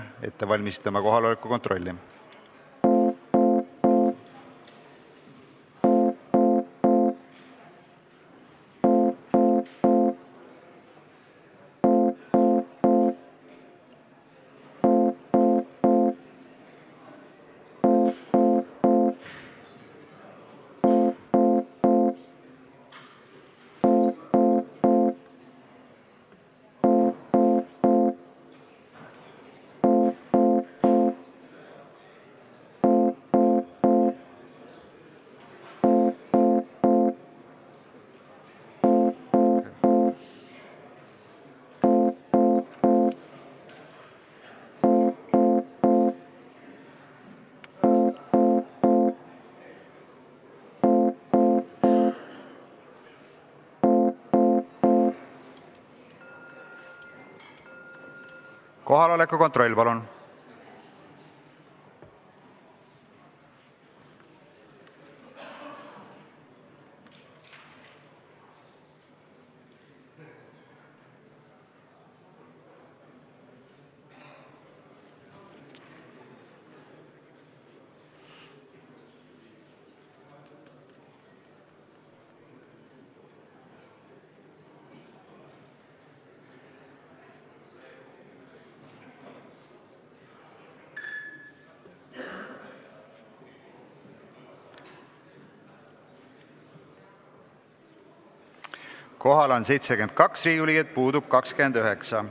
Kohaloleku kontroll Kohal on 72 Riigikogu liiget, puudub 29.